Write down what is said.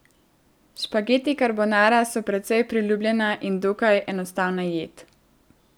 Špageti karbonara so precej priljubljena in dokaj enostavna jed.